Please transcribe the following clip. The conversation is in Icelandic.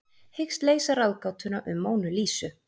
Hyggst leysa ráðgátuna um Mónu Lísu